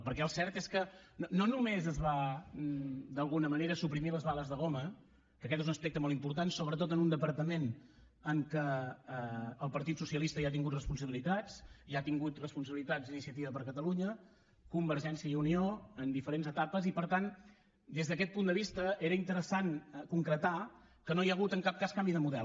perquè el cert és que no només es van d’alguna manera suprimir les bales de goma que aquest és un aspecte molt important sobretot en un departament en què el partit socialista hi ha tingut responsabilitats hi ha tingut responsabilitats iniciativa per catalunya convergència i unió en diferents etapes i per tant des d’aquest punt de vista era interessant concretar que no hi ha hagut en cap cas canvi de model